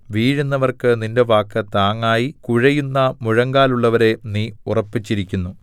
വീഴുന്നവർക്ക് നിന്റെ വാക്ക് താങ്ങായി കുഴയുന്ന മുഴങ്കാലുള്ളവരെ നീ ഉറപ്പിച്ചിരിക്കുന്നു